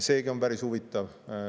Seegi on päris huvitav.